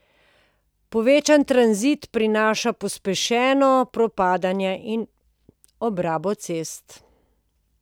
Povečan tranzit prinaša pospešeno propadanje in obrabo cest.